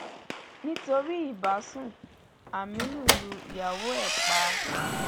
nítorí ìbásun aminu lu ìyàwó ẹ pa